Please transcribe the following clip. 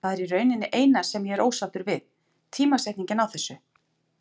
Það er í rauninni eina sem ég er ósáttur við, tímasetningin á þessu.